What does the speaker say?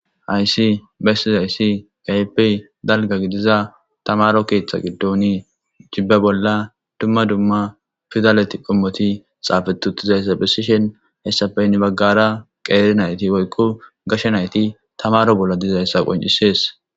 Haysi besizaysi keehippe dalga gidida tamaro keetha giddoni jibe bolla dumma dumma pidaleti qomoti xafeti utidaysa besishn hesappe hen bagara qeeri nayti woyko gashe nayti tamaro bolla dizaysa qoncises.